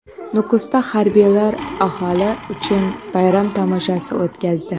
Nukusda harbiylar aholi uchun bayram tomoshasi o‘tkazdi .